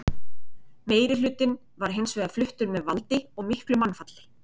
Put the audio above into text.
meirihlutinn var hins vegar fluttur með valdi og miklu mannfalli